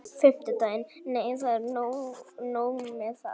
Nei, það er ekki nóg með það.